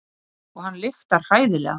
Og hann lyktar hræðilega.